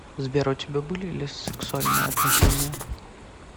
сбер у тебя были ли сексуальные отношения